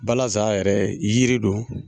Balaza yɛrɛ yiri don